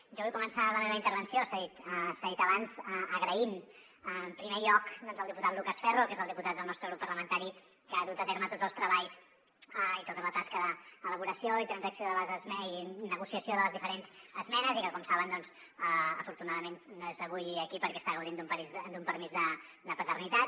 jo vull començar la meva intervenció s’ha dit abans donant les gràcies en primer lloc al diputat lucas ferro que és el diputat del nostre grup parlamentari que ha dut a terme tots els treballs i tota la tasca d’elaboració i transacció i negociació de les diferents esmenes i que com saben afortunadament no és avui aquí perquè està gaudint d’un permís de paternitat